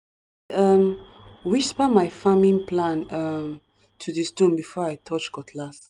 um whisper my farming plan um to di stone before i touch cutlass.